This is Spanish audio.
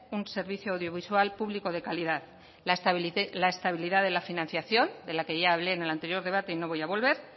un servicio audiovisual público de calidad la estabilidad de la financiación de la que ya hablé en el anterior debate y no voy a volver